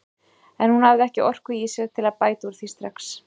En hún hafði ekki orku í sér til að bæta úr því strax.